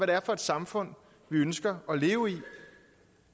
det er for et samfund vi ønsker at leve i